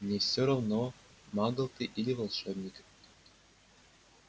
мне все равно магл ты или волшебник